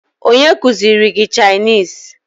Onye kụziri gị Chinịse?